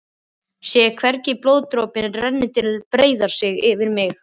Sé hvernig blóðdropinn rennur til og breiðir sig yfir mig.